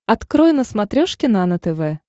открой на смотрешке нано тв